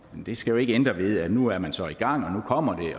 det skal jo ikke ændre ved at nu er man så i gang og nu kommer